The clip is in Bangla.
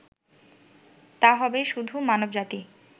তা হবে শুধু মানবজাতি